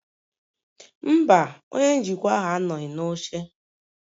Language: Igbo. Mba, Onye njikwa ahụ anọghị n'oche